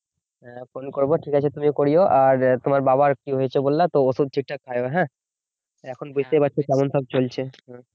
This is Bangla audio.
হ্যাঁ ফোন করব ঠিক আছে তুমিও করিও আর তোমার বাবার কি হয়েছে বললা তো ওষুধ ঠিকঠাক খাই ও হ্যাঁ এখন বুঝতেই পারছ কেমন সব চলছে